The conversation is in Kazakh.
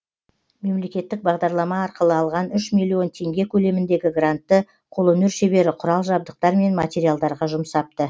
мемлекеттік бағдарлама арқылы алған үш миллион теңге көлеміндегі грантты қолөнер шебері құрал жабдықтар мен материалдарға жұмсапты